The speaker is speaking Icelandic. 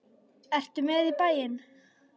Ertu með í bæinn?